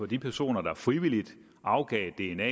de personer der frivilligt afgiver dna